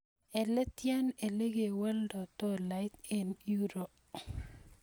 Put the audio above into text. Eletian elegewoldo dolait en euro